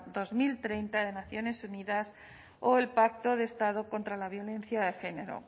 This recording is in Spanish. dos mil treinta de naciones unidas o el pacto de estado contra la violencia de género